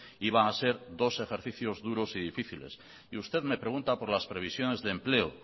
iban a ser dos ejercicios duros y difíciles y usted me pregunta por las previsiones de empleo